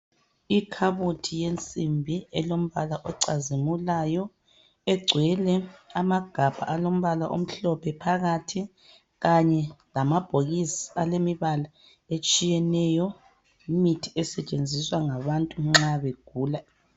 Ikhabothi yensimbi elombala ocazimulayo egcwele amagabha alombala omhlophe phakathi kanye lamabhokisi elemibala etshiyeneyo yimithi esetshenziswa ngabantu nxa begula.